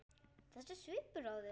Þessi svipur á þér.